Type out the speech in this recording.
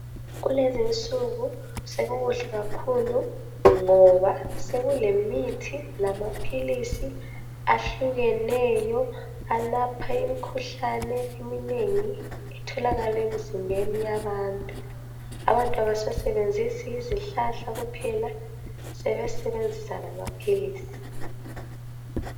Kulezinsuku sekukuhle kakhulu ngoba sekulemithi lamaphilisi ahlukeneyo alapha imikhuhlane eminengi etholakala emzimbeni yabantu. Abantu abasasebenzisi izihlahla kuphela sebesebenzisa lamaphilisi.